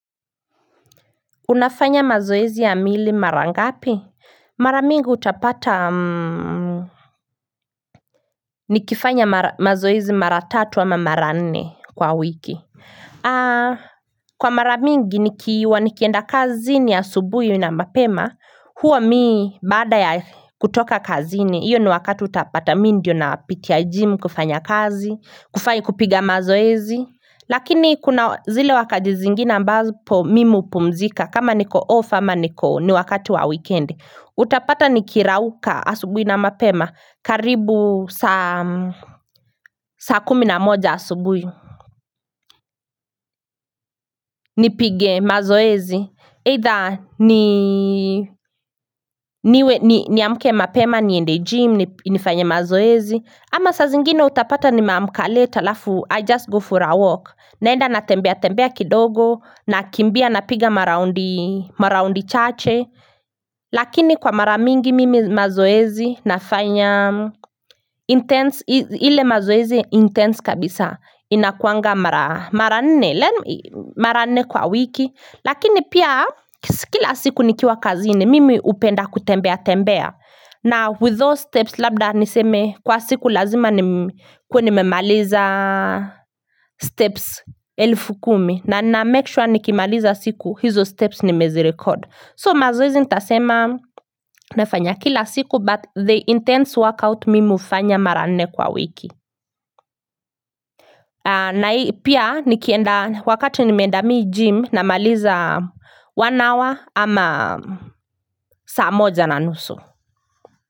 Unafanya mazoezi ya mwili mara ngapi? Mara mingi utapata nikifanya mazoezi mara tatu ama mara nne kwa wiki aa kwa mara mingi nikiwa nikienda kazi ni asubuhi na mapema huwa mii baada ya kutoka kazini hiyo ni wakati utapata mii ndiyo napitia gym kufanya kazi, kufanya kupiga mazoezi Lakini kuna zile wakati zingine ambapo mimi hupumzika kama niko off ama niko ni wakati wa weekendi. Utapata nimerauka asubui na mapema karibu saa kumi na moja asubuhi ni pige mazoezi Either niamke mapema niende gym nifanye mazoezi ama saa zingine utapata nimeamka late alafu i just go for a walk naenda natembea tembea kidogo nakimbia na piga maraondi chache Lakini kwa mara mingi mimi mazoezi nafanya Intense, ile mazoezi intense kabisa inakuanga mara nne, mara nne kwa wiki Lakini pia kila siku nikiwa kazini mimi upenda kutembea tembea na with those steps labda niseme kwa siku lazima nimemaliza steps elfu kumi na namake sure nikimaliza siku hizo steps nimezirecord So mazoezi nitasema nafanya kila siku but the intense workout mimi hufanya mara nne kwa wiki na hii pia nikienda wakati n imeenda mii gym namaliza one hour ama saa moja na nusu.